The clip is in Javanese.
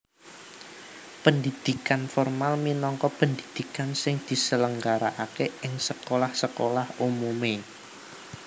Pendhidhikan formal minangka pendhidhikan sing diselenggarakaké ing sekolah sekolah umumé